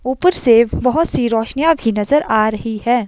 ऊपर से बोहोत सी रोशनीयां आपकी नजर आ रही है।